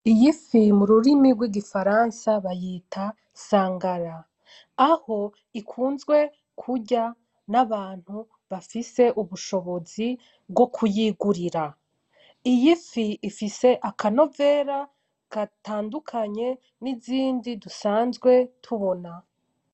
Iy'ifi m'ururimi rwigifaransa bayita sangara .Aho ikunzwe kurya n'abantu bafise ubushobozi bwo kuyigurira. Iy'ifi ifise akanovera gatandukanye n'izindi dusanzwe tubona.